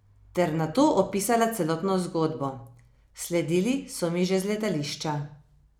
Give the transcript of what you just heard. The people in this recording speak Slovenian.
Ter nato opisala celotno zgodbo: "Sledili so mi že z letališča.